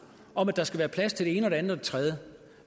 om at der skal være plads til det ene og det andet og det tredje